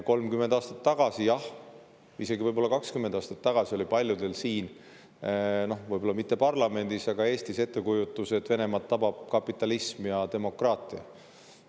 30 aastat tagasi, jah, isegi võib-olla 20 aastat tagasi oli paljudel siin – võib-olla mitte parlamendis, aga Eestis – ettekujutus, et Venemaad tabab kapitalism ja demokraatia.